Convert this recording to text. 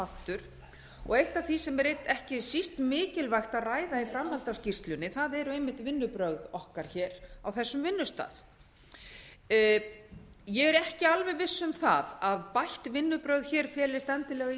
aftur og eitt af því sem er ekki síst mikilvægt að ræða í framhaldi af skýrslunni eru einmitt vinnubrögð okkar á þessum vinnustað ég er ekki alveg viss um að bætt vinnubrögð felist endilega í